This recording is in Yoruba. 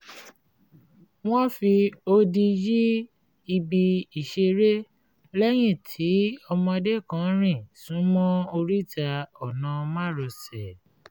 wọ́n fi odi yí ibi ìṣeré lẹ́yìn tí ọmọdé kan rìn súnmọ́ oríta ọ̀nà márosẹ̀